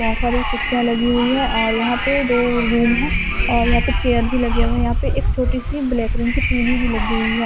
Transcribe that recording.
बहोत सारी कुर्सियां लगी हुई है और यहां पे दो रूम है और यहां पे चेयर भी लगे हुए हैं यहां पे एक छोटी सी ब्लैक रिंग की टी_वी भी लगी हुई है।